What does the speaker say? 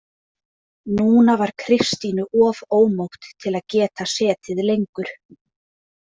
Núna var Kristínu of ómótt til að geta setið lengur.